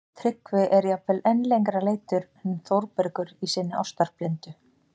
Tryggvi er jafnvel enn lengra leiddur en Þórbergur í sinni ástarblindu